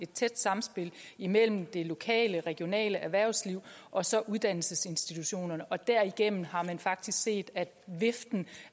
tæt samspil imellem det lokale regionale erhvervsliv og så uddannelsesinstitutionerne derigennem har man faktisk set at viften